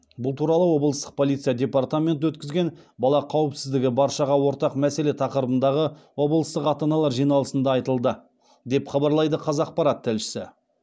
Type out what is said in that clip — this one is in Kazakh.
бұл туралы облыстық полиция департаменті өткізген бала қауіпсіздігі баршаға ортақ мәселе тақырыбындағы облыстық ата аналар жиналысында айтылды деп хабарлайды қазақпарат тілшісі